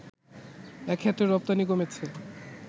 এক্ষেত্রে রপ্তানি কমেছে